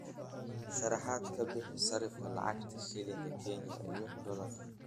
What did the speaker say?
sharaxaad ka bixi sarifka lacagta shilinka Kenya iyo dollarka